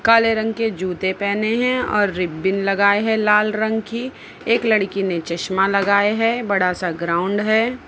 काले रंग के जूते पेहने हैं और रिबन लगाए हैं लाल रंग की एक लड़की ने चश्मा लगाए हैं बड़ा सा ग्राउंड है।